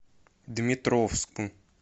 дмитровску